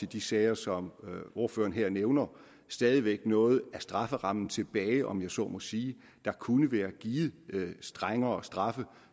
de sager som ordføreren her nævner stadig væk er noget af strafferammen tilbage om jeg så må sige der kunne være givet strengere straffe